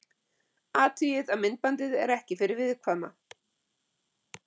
Athugið að myndbandið er ekki fyrir viðkvæma.